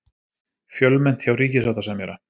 Fjölmennt hjá ríkissáttasemjara